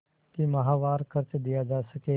कि माहवार खर्च दिया जा सके